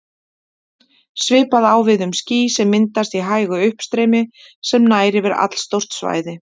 Svipað á við um ský sem myndast í hægu uppstreymi sem nær yfir allstórt svæði.